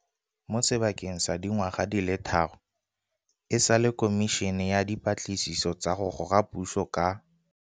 Mo sebakeng sa dingwaga di le tharo e sale Khomišene ya Dipatlisiso tsa go Goga Puso ka